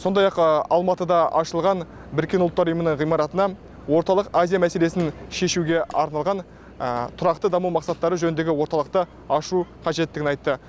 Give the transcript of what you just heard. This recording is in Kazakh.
сондай ақ алматыда ашылған біріккен ұлттар ұйымының ғимаратына орталық азия мәселесін шешуге арналған тұрақты даму мақсаттары жөніндегі орталықты ашу қажеттігін айтты